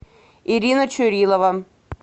ирина чурилова